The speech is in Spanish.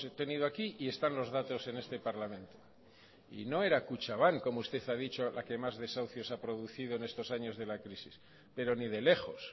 tenido aquí y están los datos en este parlamento y no era kutxabank como usted ha dicho la que más desahucios ha producido en estos años de la crisis pero ni de lejos